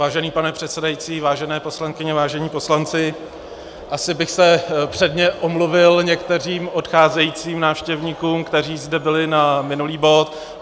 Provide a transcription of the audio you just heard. Vážený pane předsedající, vážené poslankyně, vážení poslanci, asi bych se předně omluvil některým odcházejícím návštěvníkům, kteří zde byli na minulý bod.